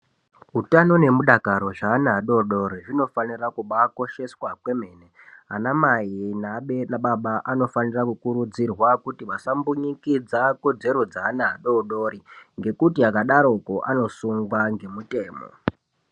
Utano nemudakaro zveana adodori zvinofanira kubaakosheswa kwemene. Ana mai neabere ana baba anofanira kukurudzirwa kuti vasambunyikidza kodzero dzeana adodori ngekuti akadarokwo anosungwa ngemutemo.